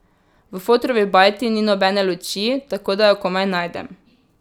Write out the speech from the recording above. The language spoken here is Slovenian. V fotrovi bajti ni nobene luči, tako da jo komaj najdem.